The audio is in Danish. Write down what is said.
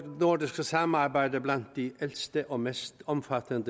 nordiske samarbejde blandt de ældste og mest omfattende